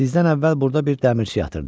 Sizdən əvvəl burda bir dəmirçi yatırdı.